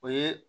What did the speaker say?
O ye